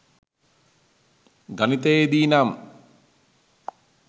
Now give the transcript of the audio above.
ගණිතයේ දී නම්